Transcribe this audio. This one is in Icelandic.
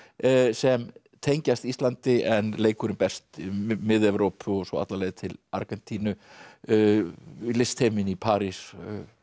sem tengjast Íslandi en leikurinn berst um Mið Evrópu og svo alla leið til Argentínu listheiminn í París